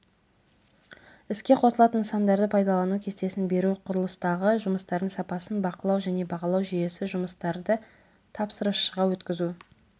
іске қосылатын нысандарды пайдалану кестесін беру құрылыстағы жұмыстардың сапасын бақылау және бағалау жүйесі жұмыстарды тапсырысшыға өткізу